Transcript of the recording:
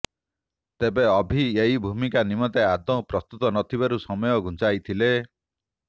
ତେବେ ଅଭି ଏହି ଭୂମିକା ନିମନ୍ତେ ଆଦୌ ପ୍ରସ୍ତୁତ ନଥିବାରୁ ସମୟ ଘୁଞ୍ଚାଇଥିଲେ